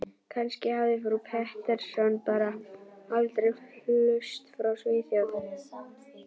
Kannski hafði frú Pettersson bara aldrei flust frá Svíþjóð.